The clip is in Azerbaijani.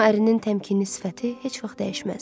Amma ərinin təmkinli sifəti heç vaxt dəyişməzdi.